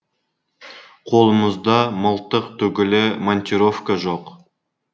қолымызда мылтық түгілі монтировка жоқ